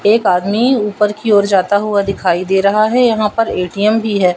एक आदमी ऊपर की ओर जाता हुआ दिखाई दे रहा है यहां पर ए_टी_एम भी है।